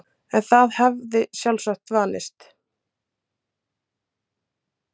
En það hafði sjálfsagt vanist.